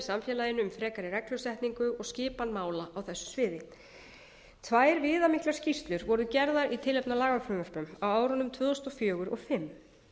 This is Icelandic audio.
samfélaginu um frekari reglusetningu og skipan mála á þessu sviði tvær viðamiklar skýrslu voru gerðar í tilefni af lagafrumvörpum á árunum tvö þúsund og fjögur og tvö þúsund og fimm